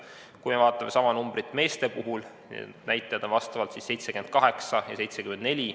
Kui me vaatame sama numbrit meeste puhul, siis need näitajad on 78 ja 74.